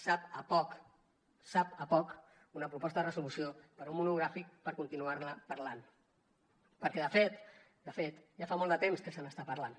sap a poc sap a poc una proposta de resolució per fer un monogràfic per continuar ne parlant perquè de fet ja fa molt de temps que se n’està parlant